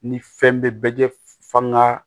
Ni fɛn bɛ bɛɛ jɛ f'an ka